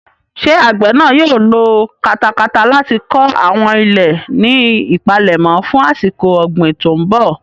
Ṣé àgbè náà yóò lo katakata láti kọ àwọn ilẹ̀ ní ìpalẹ̀mọ́ fún àsìkò ọ̀gbìn tó ń bọ̀?